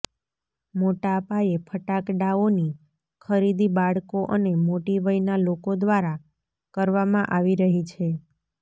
મોટાપાયે ફટાકડાઓની ખરીદી બાળકો અને મોટી વયના લોકો દ્વારા કરવામાં આવી રહી છે